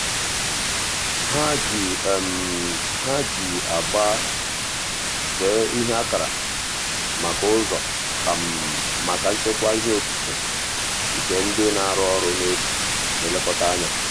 ha ji ha ji agba see ihe akara maka ụzọ um maka nchekwa ihe okike nke ndị na-arụ ọrụ n'efu na-elekọta anya.